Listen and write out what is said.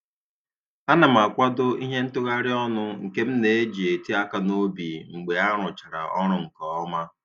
A na m akwado ihe ntagharị ọnụ nke m na-eji eti aka n'obi mgbe a rụchara ọrụ nke ọma